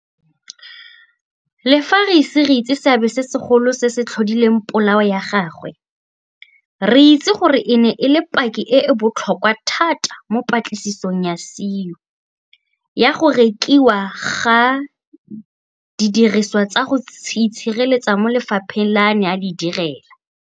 Le fa re ise re itse seabe se segolo se se tlhodileng polao ya gagwe, re itse gore e ne e le paki e e botlhokwa thata mo patlisisong ya SIU ya go rekiwa ga didiriswa tsa go itshireletsa mo lefapheng le a neng a le direla.